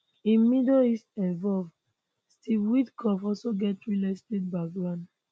im middle east envoy steve witkoff also get real estate background